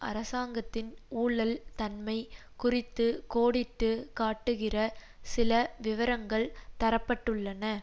அரசாங்கத்தின் ஊழல் தன்மை குறித்து கோடிட்டு காட்டுகிற சில விவரங்கள் தர பட்டுள்ளன